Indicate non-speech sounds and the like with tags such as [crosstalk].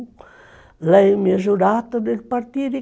[sings]